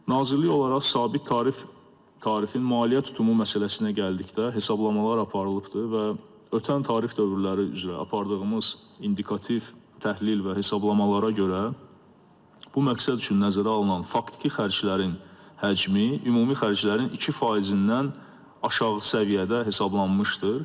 Nazirlik olaraq sabit tarif tarifin maliyyə tutumu məsələsinə gəldikdə, hesablamalar aparılıbdır və ötən tarif dövrləri üzrə apardığımız indikativ təhlil və hesablamalara görə bu məqsəd üçün nəzərə alınan faktiki xərclərin həcmi ümumi xərclərin 2%-dən aşağı səviyyədə hesablanmışdır.